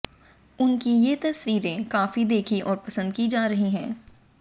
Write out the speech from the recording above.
उनकी ये तस्वीरें काफी देखी और पसंद की जा रही है